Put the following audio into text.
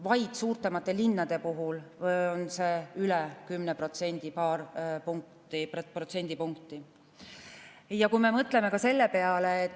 Vaid suuremate linnade puhul on see paar protsendipunkti üle 10%.